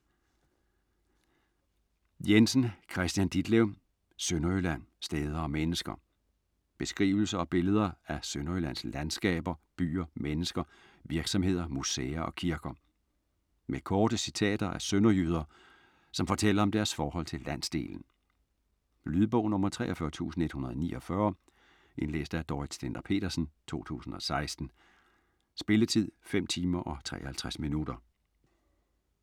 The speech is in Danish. Jensen, Kristian Ditlev: Sønderjylland: steder og mennesker Beskrivelser og billeder af Sønderjyllands landskaber, byer, mennesker, virksomheder, museer og kirker. Med korte citater af sønderjyder, som fortæller om deres forhold til landsdelen. Lydbog 43149 Indlæst af Dorrit Stender-Petersen, 2016. Spilletid: 5 timer, 53 minutter.